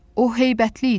O heybətli idi.